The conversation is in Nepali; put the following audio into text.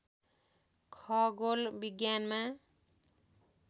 खगोल विज्ञानमा